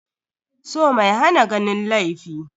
So mai hana ganin laifi.